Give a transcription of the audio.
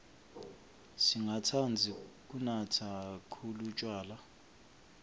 singatsandzi kunatsa khkhulu tjwala